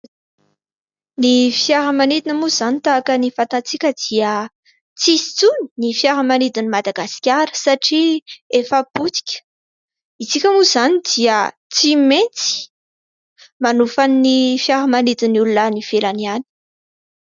Ny fiaramanidina moa izany tahaka ny fantantsika dia tsy misy intsony ny fiaramanidin'i Madagasikara satria efa potika. Isika moa izany dia tsy maintsy manofa ny fiaramanidin'ny olona any ivelany any.